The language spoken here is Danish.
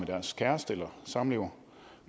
deres kæreste eller samlever